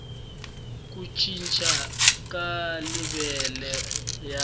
ku cinca ka levhele ya